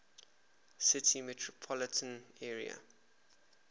city metropolitan area